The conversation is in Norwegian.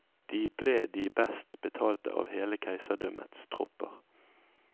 De ble de best betalte av hele keiserdømmets tropper.